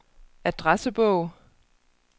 adressebog